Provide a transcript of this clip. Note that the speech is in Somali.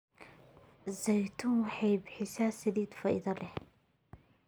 Zaytuun waxay bixisaa saliid faa'iido leh.